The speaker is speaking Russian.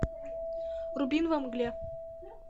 вруби во мгле